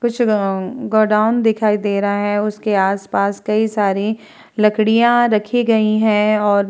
कुछ गोडाउन दिखायी दे रहा है उसके आप-पास कई सारी लकड़ियां रखी गयी हैं और--